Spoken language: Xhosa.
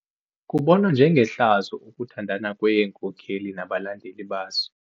Kubonwa njengehlazo ukuthandana kweenkokeli nabalandeli bazo.